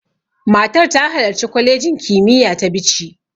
Matar ta halarci kwalejin kimiyya ta Bichi.